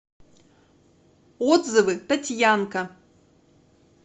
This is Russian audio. отзывы татьянка